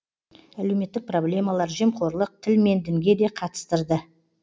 әлеуметтік проблемалар жемқорлық тіл мен дінге де қатыстырды